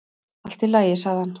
"""Allt í lagi, sagði hann."""